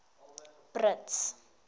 brits